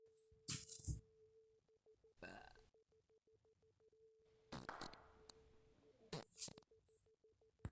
eoshi irkeek laijo (KARATE 2.5WG@)PHI: 3 days o (ACTARA 25 WG) PHI; 7days o deltamethrin ( DECIS 2.5EC ) PHI